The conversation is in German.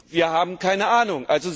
wir haben keine Ahnung.